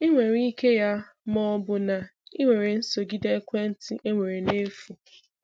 Ị nwere ike ya ma ọ bụrụ na ị were nsodige ekwentị e nwere na-efu.